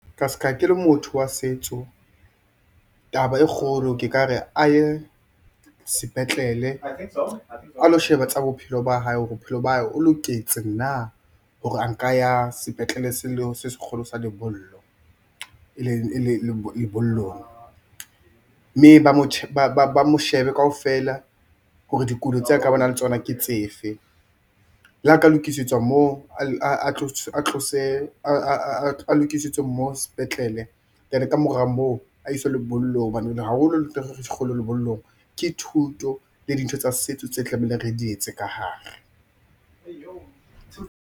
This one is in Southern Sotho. Ka ska ke le motho wa setso taba e kgolo ke ka re a ye sepetlele a lo sheba tsa bophelo ba hae hore bophelo ba hae o loketse na hore a nka ya sepetlele se kgolo sa lebollo e leng lebollong. Mme ba mo shebe kaofela hore dikulo tse a ka banang le tsona ke tsefe, la ka lokisetswa moo a lokisitswe moo sepetlele then, ka mora moo, a i swe lebollong hobanene haholo ntho e kgolo lebollong ke thuto le dintho tsa setso tse tlamehileng re dietse ka hare.